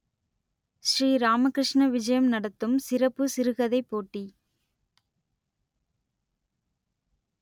ஸ்ரீராமகிருஷ்ண விஜயம் நடத்தும் சிறப்பு சிறுகதைப் போட்டி